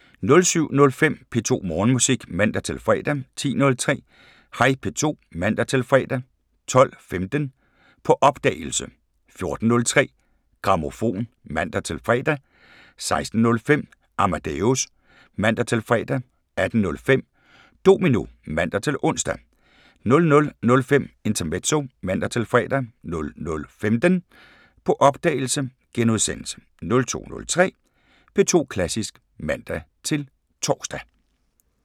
07:05: P2 Morgenmusik (man-fre) 10:03: Hej P2 (man-fre) 12:15: På opdagelse 14:03: Grammofon (man-fre) 16:05: Amadeus (man-fre) 18:05: Domino (man-ons) 00:05: Intermezzo (man-fre) 00:15: På opdagelse * 02:03: P2 Klassisk (man-tor)